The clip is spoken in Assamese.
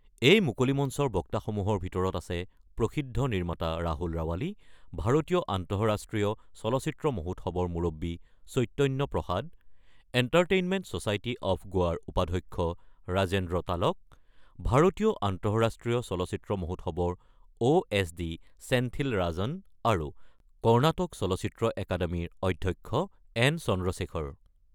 এই মুকলি মঞ্চৰ বক্তাসমূহৰ ভিতৰত আছে প্ৰসিদ্ধ নিৰ্মাতা ৰাহুল ৰাৱালী, ভাৰতীয় আন্তঃৰাষ্ট্ৰীয় চলচ্চিত্ৰ মহোৎসৱৰ মূৰববী Chaitanya Prasad, entertainment society of গোৱাৰ উপাধ্যক্ষ ৰাজেন্দ্ৰ তালক, ভাৰতীয় আন্তঃৰাষ্ট্ৰীয় চলচ্চিত্ৰ মহোৎসৱৰ O S D Senthil Rajan আৰু কৰ্ণাটক চলচ্চিত্ৰ একাডেমীৰ অধ্যক্ষ এন চন্দ্ৰশ্বেখৰ।